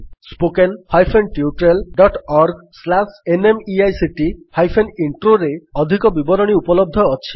spoken hyphen tutorial dot org slash NMEICT hyphen ଇଣ୍ଟ୍ରୋରେ ଅଧିକ ବିବରଣୀ ଉପଲବ୍ଧ ଅଛି